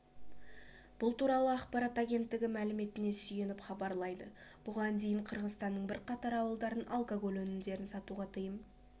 бұл туралы ақпарат агенттігі мәліметіне сүйеніп хабарлайды бұған дейін қырғызстанның бірқатар ауылдарын алкоголь өнімдерін сатуға тыйым